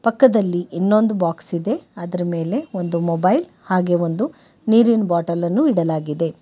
ಪಕ್ಕದಲ್ಲಿ ಇನ್ನೊಂದು ಬಾಕ್ಸ್ ಇದೆ ಅದರ ಮೇಲೆ ಒಂದು ಮೊಬೈಲ್ ಹಾಗೆ ಒಂದು ನೀರಿನ ಬಾಟಲನ್ನು ಇಡಲಾಗಿದೆ.